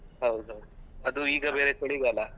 ಹೌದು ಹೌದ್ ಅದು ಈಗ ಬೇರೆ ಚಳಿಗಾಲ.